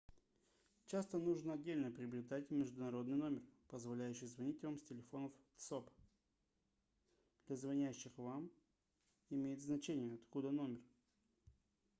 часто нужно отдельно приобретать международный номер позволяющий звонить вам с телефонов тсоп для звонящих вам имеет значение откуда номер